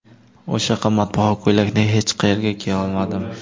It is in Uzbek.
O‘sha qimmatbaho ko‘ylakni hech qayerga kiya olmadim.